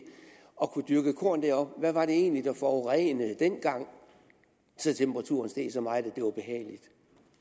og dyrke korn deroppe hvad var det egentlig der forurenede dengang så temperaturen steg så meget at det var behageligt